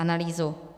Analýzu.